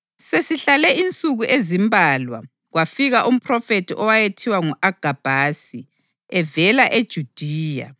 Sesihlale insuku ezimbalwa kwafika umphrofethi owayethiwa ngu-Agabhasi evela eJudiya.